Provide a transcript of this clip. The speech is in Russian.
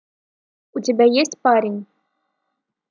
у тебя есть парень